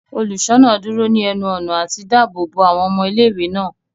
Oluṣọna duro ni ẹnu-ọna lati daabo bo awọn ọmọ ìlé-ìwé náà.